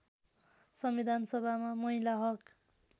संविधानसभामा महिला हक